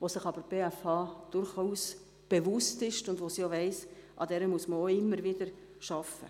Dieser ist sich die BFH durchaus bewusst, und sie weiss, dass daran stets gearbeitet werden muss.